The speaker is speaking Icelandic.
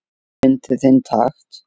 Fyndu þinn takt